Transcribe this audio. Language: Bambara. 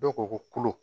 Dɔw ko ko kolo